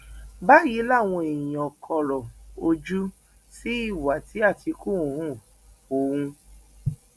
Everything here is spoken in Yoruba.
báyìí làwọn èèyàn kọrọ ojú sí ìwà tí àtìkù hu ohun